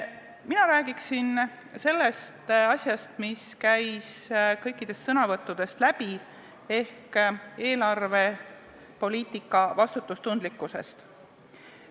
Mina räägin sellest, mis käis kõikidest sõnavõttudest läbi, ehk eelarvepoliitika vastutustundlikkusest.